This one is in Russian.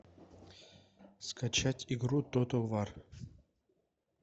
скачать игру тотал вар